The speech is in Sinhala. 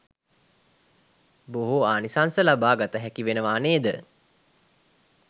බොහෝ ආනිසංස ලබා ගත හැකි වෙනවා නේද?